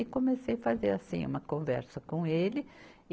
E comecei fazer assim uma conversa com ele.